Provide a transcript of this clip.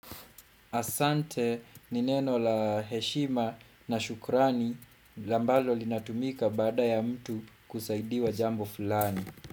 Asante ni neno la heshima na shukrani ambalo linatumika baada ya mtu kusaidiwa jambo fulani.